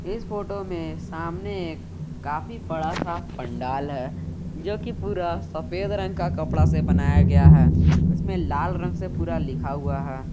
इस फोटो में सामने एक काफी बड़ा सा पंडाल है जो कि पूरा सफेद रंग का कपड़ा से बनाया गया है उसमें लाल रंग से पूरा लिखा हुआ है।